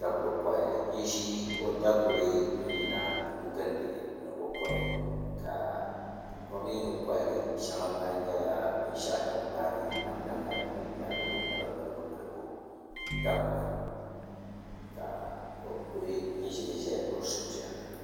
Daguli kohi n ʒi o daguli n yina gindi ni o kohi ka o mii ni kohari shɛŋa maa nyɛla binshaɣu din gbaagi namda malibu ni di milibu milibu daguli ka o ku ʒili ʒɛya ni o suhupiɛlli